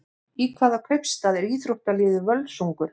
Í hvaða kaupstað er íþróttaliðið Völsungur?